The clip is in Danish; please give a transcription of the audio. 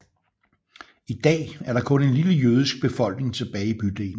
I dag er der kun en lille jødisk befolkning tilbage i bydelen